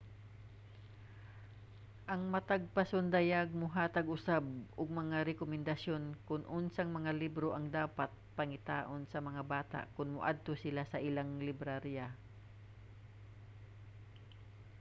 ang matag pasundayag mohatag usab og mga rekomendasyon kon unsang mga libro ang dapat pangitaon sa mga bata kon moadto sila sa ilang librarya